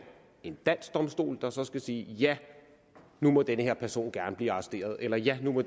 en dansk domstol der så skal sige at ja nu må den her person gerne blive arresteret eller at ja nu må